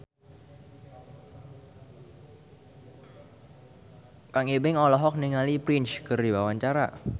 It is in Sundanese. Kang Ibing olohok ningali Prince keur diwawancara